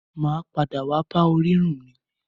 Mà á padà wá bá orírun mi.